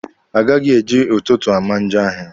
A gaghị eji ụtụtụ ama njọ ahịa.